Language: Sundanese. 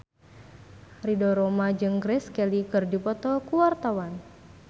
Ridho Roma jeung Grace Kelly keur dipoto ku wartawan